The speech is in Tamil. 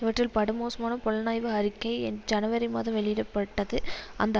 இவற்றில் படுமோசமான புலனாய்வு அறிக்கை ஜனவரி மாதம் வெளியிட பட்டது இந்த